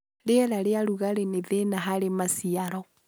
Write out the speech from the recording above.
rĩera rĩa rũgarĩ nĩ thĩna harĩ maciaro